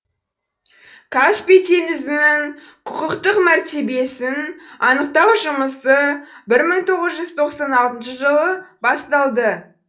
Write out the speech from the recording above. каспий теңізінің құқықтық мәртебесін анықтау жұмысы бір мың тоғыз жүз тоқсан алтыншы жылы басталды